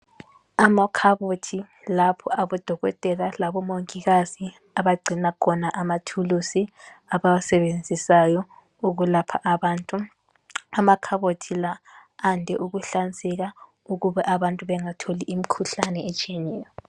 Amakhabothi lapho aboDokotela laboMongikazi abagcina khona amathuluzi abawasebenzisayo ukulapha abantu. Amakhabothi la ande ukuhlanzeka ukube abantu bengatholi imikhuhlane etshiyeneyo.